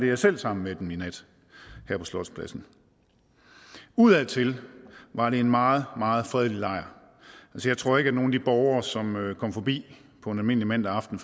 jeg selv sammen med dem i nat her på slotspladsen udadtil var det en meget meget fredelig lejr jeg tror ikke at nogen af de borgere som kom forbi på en almindelig mandag aften